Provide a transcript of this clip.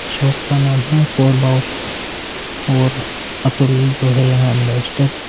shop का नाम है और अतुल जो है यहाँ अम्बेसडर --